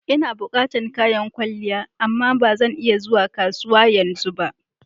Ina bukatan kayan kwalliya amma ba zan iya zuwa kasuwa yanzu ba.